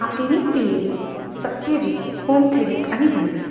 ఈ క్లినిక్ పేరు Satya G home clinic అని ఉంది.